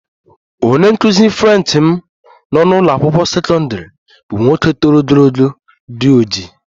Onye nkụzi French m nọ n'ụlọ akwụkwọ sekọndrị bụ nwoke toro ogologo, di ojii